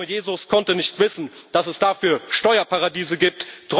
geht. Der arme Jesus konnte nicht wissen, dass es dafür Steuerparadiese